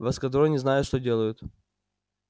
в эскадроне знают что делают